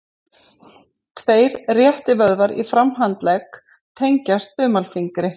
tveir réttivöðvar í framhandlegg tengjast þumalfingri